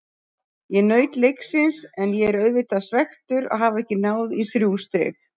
Ég naut leiksins en ég er auðvitað svekktur að hafa ekki náð í þrjú stig.